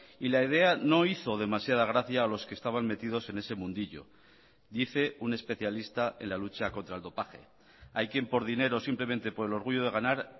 y la idea no hizo demasiada gracia a los que estaban metidos en ese mundillo dice un especialista en la lucha contra el dopaje hay quien por dinero simplemente por el orgullo de ganar